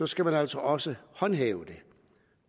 skal man altså også håndhæve det